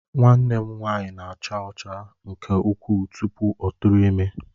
Nwanne m nwanyị na-acha ọcha nke ukwuu tupu ọ tụrụ ime